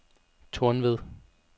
Tornved